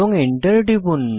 enter টিপুন